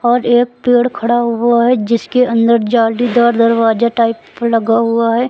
और एक पेड़ खड़ा हुआ है जिसके अंदर जालीदार दरवाजा टाइप लगा हुआ है।